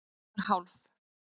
Ég var hálf